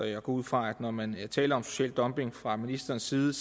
jeg går ud fra at når man taler om social dumping fra ministerens side